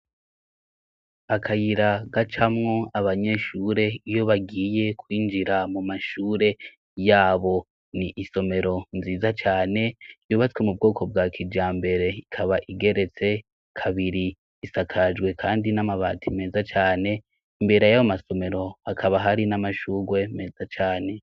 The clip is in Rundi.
akayira gacamwo abanyeshure iyo bagiye kwinjira mu mashure yabo ni isomero nziza cane yubatswe mu bwoko bwa kija mbere ikaba igeretse kabiri isakajwe kandi n'amabati meza cane imbere yabo masomero akaba hari n'amashugwe meza cane